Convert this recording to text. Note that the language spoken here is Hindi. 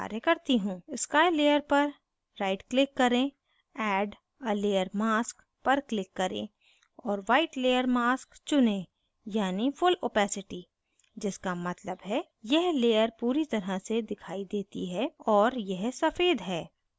sky layer पर right click करें add a layer mask पर click करें और white layer mask चुनें यानी full opacity जिसका मतलब है यह layer पूरी तरह से दिखाई देती है और यह सफ़ेद है